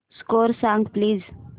score सांग please